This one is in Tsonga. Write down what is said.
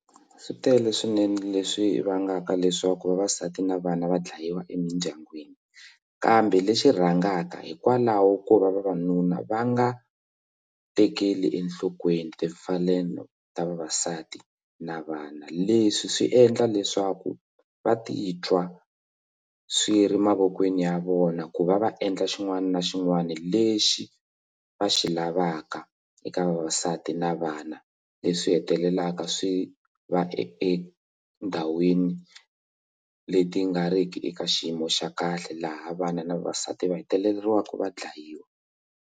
Swi tele swinene leswi vangaka leswaku vavasati na vana vadlayiwa emindyangwini kambe leswi rhangaka hikwalaho ko vavanuna va nga tekeli enhlokweni timfanelo ta vavasati na vana leswi swi endla leswaku va titwa swi ri mavokweni ya vona ku va va endla xin'wana na xin'wana lexi va xi lavaka eka vavasati na vana leswi swi hetelelaka swi va endhawini leti nga ri ki eka xiyimo xa kahle laha vana na vavasati va hetelelaka va dlayiwa.